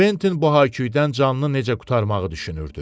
Quentin bu Haku-dən canını necə qurtarmağı düşünürdü.